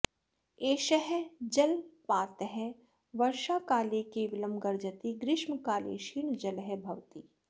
एषः जलपातः वर्षाकाले केवलं गर्जति ग्रीष्मकाले क्षीणजलः भवति